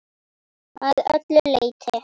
Að öllu leyti.